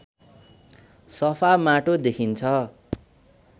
सफा माटो देखिन्छ